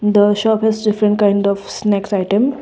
the shop is different kind of snacks item.